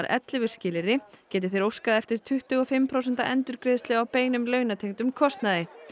ellefu skilyrði geti þeir óskað eftir tuttugu og fimm prósenta endurgreiðslu á beinum launatengdum kostnaði